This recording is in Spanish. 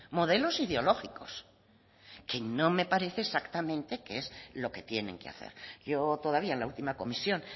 modelos ideológicos que no me parece exactamente que es lo que tienen que hacer yo todavía en la última comisión